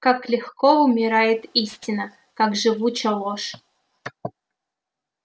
как легко умирает истина как живуча ложь